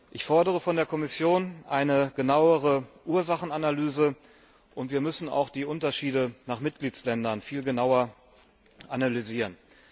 Ich fordere von der Kommission eine genauere Ursachenanalyse und wir müssen auch die Unterschiede nach Mitgliedstaaten viel genauer analysieren.